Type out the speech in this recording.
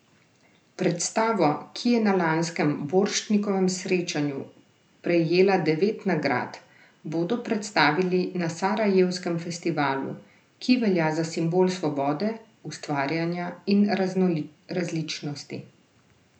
Predstavo, ki je na lanskem Borštnikovem srečanju prejela devet nagrad, bodo predstavili na sarajevskem festivalu, ki velja za simbol svobode, ustvarjanja in različnosti.